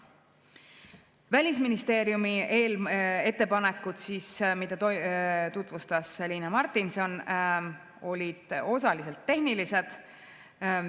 Välisministeeriumi ettepanekud, mida tutvustas Liina Martinson, olid osaliselt tehnilised.